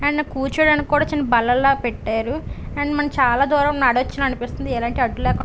and కూర్చోడానికి కూడా చిన్న బల్లల పెట్టారు అండ్ మనం చాలా దూరం నడచును అనిపిస్తుంది ఎలాంటి అడ్డు లేకో --